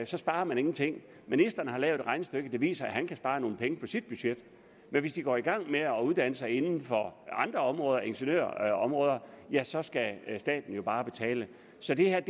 så sparer man ingenting ministeren har lavet et regnestykke der viser at han kan spare nogle penge på sit budget men hvis de går i gang med at uddanne sig inden for andre områder ingeniørområder så skal staten jo bare betale så det her